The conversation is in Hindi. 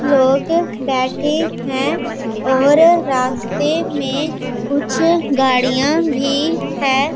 लोग बैठे हैं और रास्ते में कुछ गाड़ियां भी हैं।